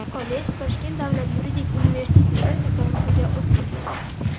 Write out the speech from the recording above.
Kollej Toshkent davlat yuridik universiteti tasarrufiga o‘tkazildi.